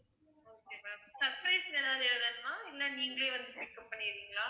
okay ma'am surprise ன்னு ஏதாவது எழுதணுமா இல்ல நீங்களே வந்து pick up பண்ணிடுவீங்களா